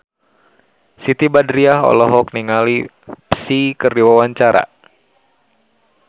Siti Badriah olohok ningali Psy keur diwawancara